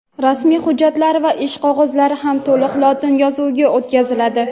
rasmiy hujjatlar va ish qog‘ozlari ham to‘liq lotin yozuviga o‘tkaziladi.